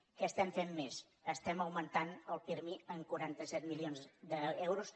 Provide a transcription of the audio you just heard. què estem fent més estem augmentant el pirmi en quaranta set milions d’euros